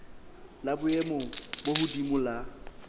la boemo bo hodimo la